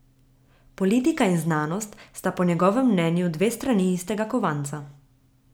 Politika in znanost sta po njegovem mnenju dve strani istega kovanca.